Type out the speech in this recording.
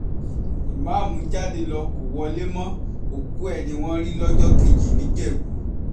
ìmáàmù jáde ló kó wọlé mọ́ òkú ẹ̀ ni wọ́n rí lọ́jọ́ kejì níjẹ̀bù